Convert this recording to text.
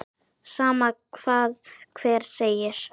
Sama hvað hver segir.